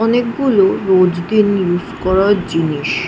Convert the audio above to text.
অনেক গুলো রোজ দিন ইউজ করার জিনিস।